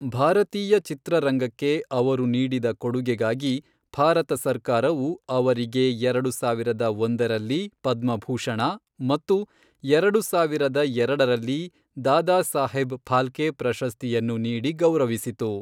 ಭಾರತೀಯ ಚಿತ್ರರಂಗಕ್ಕೆ ಅವರು ನೀಡಿದ ಕೊಡುಗೆಗಾಗಿ ಭಾರತ ಸರ್ಕಾರವು ಅವರಿಗೆ ಎರಡು ಸಾವಿರದ ಒಂದರಲ್ಲಿ ಪದ್ಮಭೂಷಣ ಮತ್ತು ಎರಡು ಸಾವಿರದ ಎರಡರಲ್ಲಿ ದಾದಾಸಾಹೇಬ್ ಫಾಲ್ಕೆ ಪ್ರಶಸ್ತಿಯನ್ನು ನೀಡಿ ಗೌರವಿಸಿತು.